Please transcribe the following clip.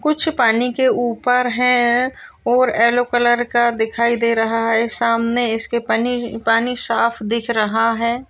कुछ पानी के ऊपर है और येलो कलर का दिखाई दे रहा है सामने इसके पानी साफ दिख रहा है।